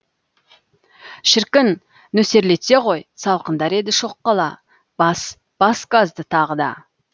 шіркін нөсерлетсе ғой салқындар еді шоқ қала бас бас газды тағы да